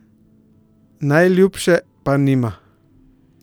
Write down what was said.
Najljubše pa nima.